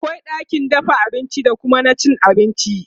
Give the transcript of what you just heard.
akwai ɗakin dafa abinci da Kuma na cin abinci